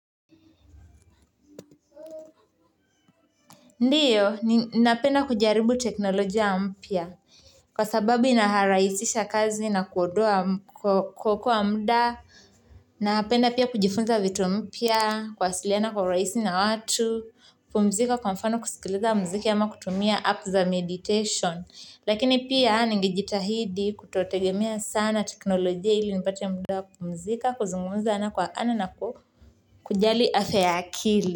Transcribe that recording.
Ndiyo ninapenda kujaribu teknolojia mpya kwa sababu inaharahisisha kazi na kuondoa kuokoa muda napenda pia kujifunza vitu mpya kuwasiliana kwa urahisi na watu kupumzika kwa mfano kusikiliza mziki ama kutumia app za meditation lakini pia ningejitahidi kutotegemea sana teknolojia ili nipate muda wa kupumzika kuzungumza ana kwa ana na ku kujali afya ya akili.